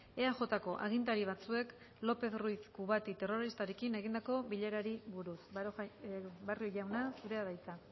eajko agintari batzuek lopez ruiz kubati terroristarekin egindako bilerari buruz barrio jauna zurea da hitza